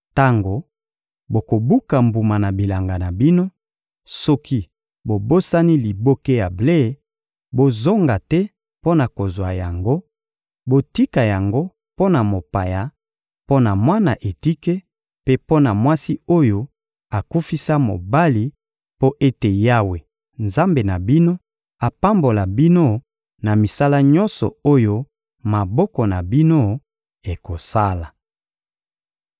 Tango bokobuka mbuma na bilanga na bino, soki bobosani liboke ya ble, bozonga te mpo na kozwa yango; botika yango mpo na mopaya, mpo na mwana etike mpe mpo na mwasi oyo akufisa mobali mpo ete Yawe, Nzambe na bino, apambola bino na misala nyonso oyo maboko na bino ekosala.